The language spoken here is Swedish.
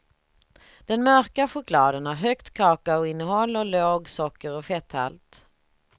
Den mörka chokladen har högt kakaoinnehåll och låg socker och fetthalt.